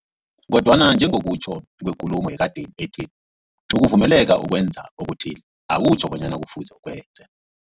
Kodwana njengokutjho kwekulumo yekadeni ethi, ukuvumeleka ukwenza okuthile, akutjho bonyana kufuze ukwenze.